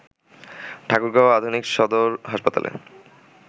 ঠাকুরগাঁও আধুনিক সদর হাসপাতালে